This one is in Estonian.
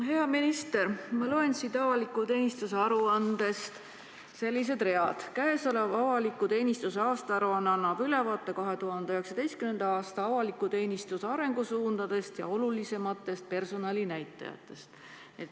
Hea minister, ma loen siit avaliku teenistuse aruandest sellised read: käesolev avaliku teenistuse aastaaruanne annab ülevaate 2019. aasta avaliku teenistuse arengusuundadest ja olulisematest personalinäitajatest.